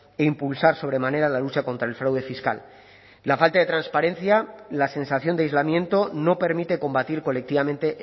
e impulsar sobremanera la lucha contra el fraude fiscal la falta de transparencia la sensación de aislamiento no permite combatir colectivamente